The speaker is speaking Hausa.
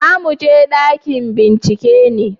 za mu je ɗakin bincike ne?